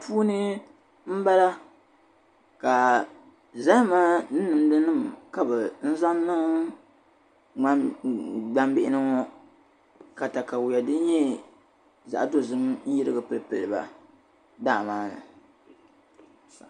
Puuni m-bala ka zahama ni nimdinama ka bɛ zaŋ n-niŋ gbaŋ bihi ŋɔ ka takawiya din nyɛ zaɣ'dozim n-yirigi pili pili ba daa maa ni.